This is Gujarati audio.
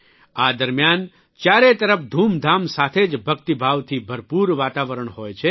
આ દરમ્યાન ચારેય તરફ ધૂમધામ સાથે જ ભક્તિભાવથી ભરપૂર વાતાવરણ હોય છે